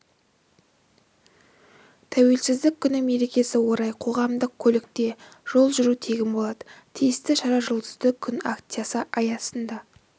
тәуелсіздік күні мерекесіне орай қоғамдық көлікте жол жүру тегін болады тиісті шара жұлдызды күн акциясы аясында